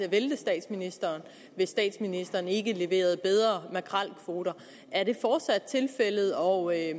at vælte statsministeren hvis statsministeren ikke leverede bedre makrelkvoter er det fortsat tilfældet og er